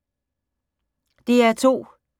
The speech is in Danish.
DR2